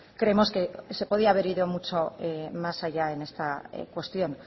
creemos que se podía haber ido mucho más allá en esta cuestión